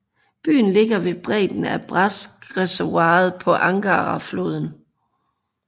Byen ligger ved bredden af Bratskreservoiret på Angarafloden